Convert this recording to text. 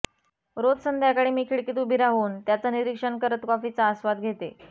रोज संध्याकाळी मी खिडकीत उभी राहून त्याचं निरीक्षण करत कॉफीचा आस्वाद घेते